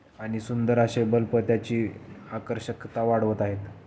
आणि सुंदर आशे बल्ब त्याची आकर्षकता वाढवत आहेत.